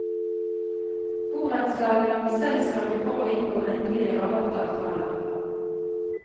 Borettslagene må selv sørge for å inngå endelige rabattavtaler.